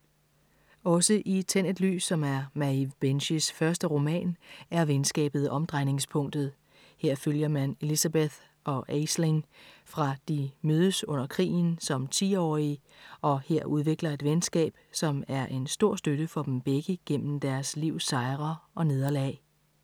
Også i Tænd et lys, som er Maeve Binchys første roman, er venskabet omdrejningspunktet. Her følger man Elizabeth og Aisling fra de mødes under krigen som 10-årige og her udvikler et venskab, som er en stor støtte for dem begge gennem deres livs sejre og nederlag.